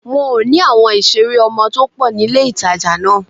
Wọn ò ní àwọn ìṣeré ọmọ tó pọ̀ ní ilé-ìtàjà náà